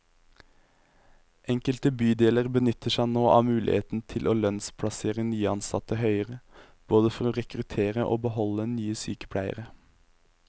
Enkelte bydeler benytter seg nå av muligheten til å lønnsplassere nyansatte høyere, både for å rekruttere og beholde nye sykepleiere.